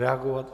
Reagovat?